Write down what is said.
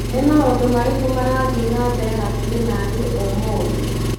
Nĩ maũndũ marĩkũ marathiĩ na mbere hakuhĩ naniĩ ũmũthĩ ?